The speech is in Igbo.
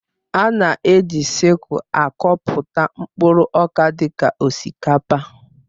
A na-eji sịkul akọpụta mkpụrụ ọka dị ka osikapa